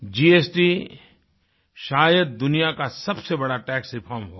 GST शायद दुनिया का सबसे बड़ा टैक्स रिफॉर्म होगा